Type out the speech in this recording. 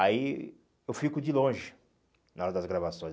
Aí eu fico de longe na hora das gravações.